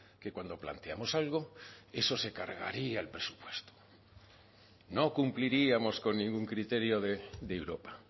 que cuando planteamos algo eso se cargaría el presupuesto no cumpliríamos con ningún criterio de europa